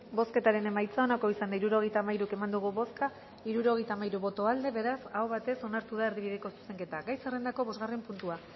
bozketaren emaitza onako izan da hirurogeita hamairu eman dugu bozka hirurogeita hamairu boto aldekoa beraz hau batek onartu da erdibideko zuzenketa gai zerrendako bosgarren puntua